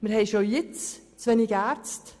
Wir haben bereits jetzt zu wenige Ärzte.